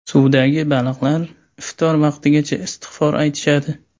Suvdagi baliqlar iftor vaqtigacha istig‘for aytishadi.